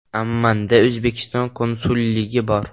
Ammanda O‘zbekiston konsulligi bor.